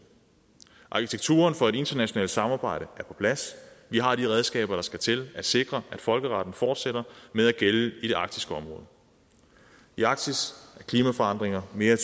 arkitekturen for et internationalt samarbejde er på plads vi har de redskaber der skal til at sikre at folkeretten fortsætter med at gælde i det arktiske område i arktis er klimaforandringer mere